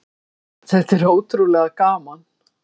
Þetta er ótrúlega gaman.